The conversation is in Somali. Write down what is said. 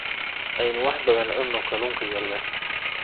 Aynu wax badan cunno kalunka yaryar